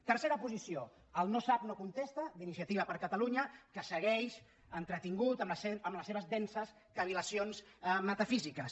tercera posició el no sap no contesta d’iniciativa per catalunya que segueix entretingut amb les seves denses cavil·lacions metafísiques